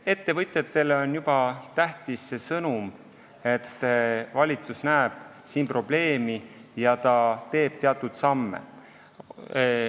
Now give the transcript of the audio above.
Ettevõtjatele on tähtis juba see sõnum, et valitsus näeb siin probleemi ja astub teatud samme.